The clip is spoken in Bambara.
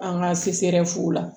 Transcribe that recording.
An ka fu la